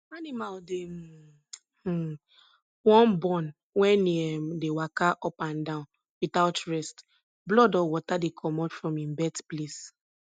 animal dey um um wan born wen e um dey waka up and down without rest blood or water dey comot from im birth place